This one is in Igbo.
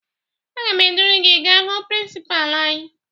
Aga m eduru gị gaa hụ prịnsịpaa anyị